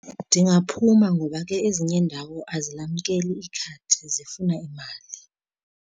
Ndingaphuma ngoba ke ezinye iindawo azilamkeli ikhadi zifuna imali.